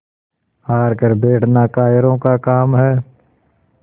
हार कर बैठना कायरों का काम है